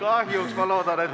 Kahjuks ei ole!